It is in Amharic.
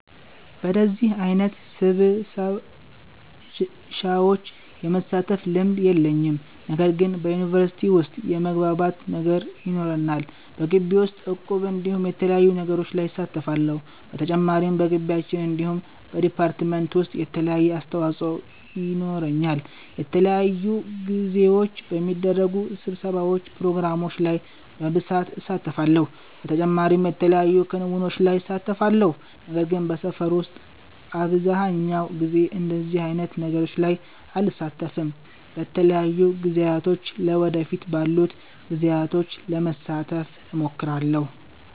በደዚህ አይነት ስብሰሻዎች የመሳተፍ ልምድ የለኝም። ነገር ግን በዩኒቨርሲቲ ዉስጥ የመግባባት ነገር ይኖረናል። በጊቢ ዉስጥ እቁብ እንዲሁም የተለያዩ ነገሮች ላይ እሳተፋለሁ። በተጨማሪም በጊቢያችን እንዲሁም በ ዲፓርትመንት ዉሰጥ የተለያየ አስተዋፆ የኖረኛል። በተለያዩ ጊዜዎች በሚደረጉ ስብሰባዎች ፕሮግራሞች ላይ በብሳት እሳተፋለሁ። በተጨማሪም የተለያዩ ክንዉኖች ላይ እሳተፋለሁ። ነገር ግን በሰፈር ዉስጥ አብዘሃኛዉ ጊዜ እንደዚህ አይነት ነገሮች ላይ አልሳተፍም። በተለያዩ ጊዜያቶች ለ ወደፊት ባሉት ጊዜዎች ለመሳተፍ እሞክራለሁ